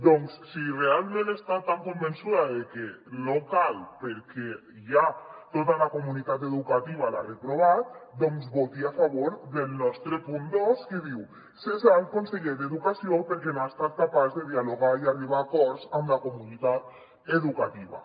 doncs si realment està tan convençuda de que no cal perquè ja tota la comunitat educativa l’ha reprovat voti a favor del nostre punt dos que diu cessar el conseller d’educació perquè no ha estat capaç de dialogar i arribar a acords amb la comunitat educativa